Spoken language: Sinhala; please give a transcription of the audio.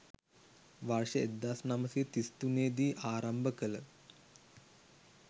වර්ෂ 1933 දී ආරම්භ කළ